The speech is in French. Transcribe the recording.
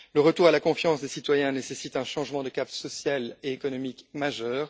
Le retour à la confiance des citoyens nécessite un changement de cap social et économique majeur.